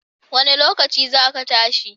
Wanne lokaci za ki tashi?